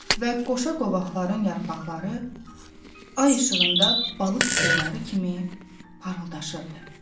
Və qoşa qovaqların yarpaqları ay işığında balıq pulları kimi parıldaşırdı.